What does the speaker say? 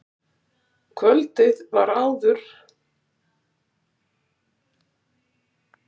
Kvöldið áður var glaumur og gleði hjá vertíðarfólkinu.